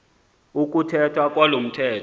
ukuthethwa kwalo mthetho